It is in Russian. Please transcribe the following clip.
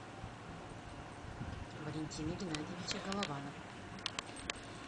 валентина геннадьевича голованова